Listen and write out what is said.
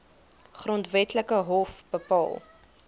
grondwetlike hof bepaal